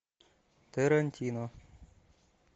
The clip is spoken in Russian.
тарантино